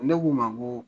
Ne k'u ma n ko